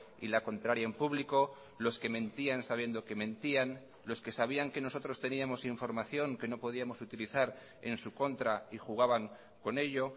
y la contraria en público los que mentían sabiendo que mentían los que sabían que nosotros teníamos información que no podíamos utilizar en su contra y jugaban con ello